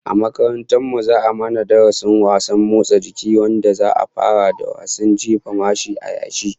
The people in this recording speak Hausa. A makarantar mu za'a mana darasin wasannin motsa jiki, wanda za'a fara da wasan jefa Mashi a yashi